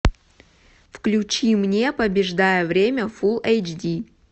включи мне побеждая время фулл эйч ди